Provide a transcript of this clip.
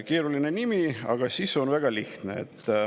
Keeruline nimi, aga sisu on väga lihtne.